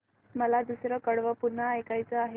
मला दुसरं कडवं पुन्हा ऐकायचं आहे